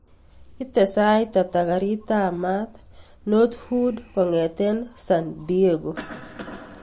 Ite sait ata karit ap maat north hwood kongeten san diego